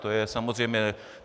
To je samozřejmé.